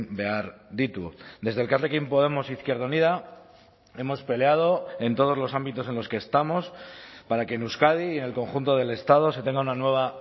behar ditu desde elkarrekin podemos izquierda unida hemos peleado en todos los ámbitos en los que estamos para que en euskadi y en el conjunto del estado se tenga una nueva